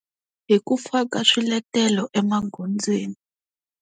Hi ku faka swiletelo emagondzweni.